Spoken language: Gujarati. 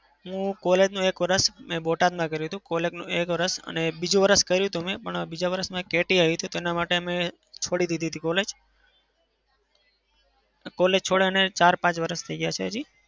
હું college નું એક વરસ બોટાદમાં કર્યું હતું. college નું એક વરસ અને બીજું વરસ કર્યું હતું પણ બીજા વરસમાં એક કેટી આવી હતી. તે માટે મેં છોડી દીધી હતી college college છોડ્યાના ચાર-પાંચ વરસ થઇ ગયા છે હજી.